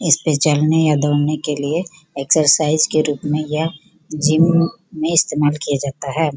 इसपे चलने या दौड़ने के लिए एक्सरसाइज के रूप में यह जिम में इस्तेमाल किया जाता है।